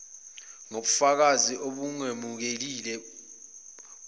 nokubafakazi obungemukelekile buvela